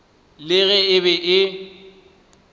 le ge e be e